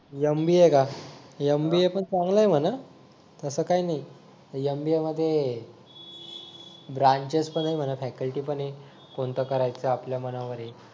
MBA का MBA पण चांगल आहे म्हणा असं काही नाही MBA मध्ये ब्रांचेस पण आहे म्हणा फॅकल्टी पण आहेत कोणतं करायचं आपल्या मनावर आहे